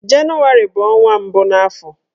Jenụwarị bụ ọnwa mbụ n'afọ